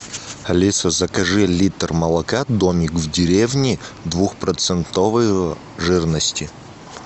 алиса закажи литр молока домик в деревне двухпроцентовой жирности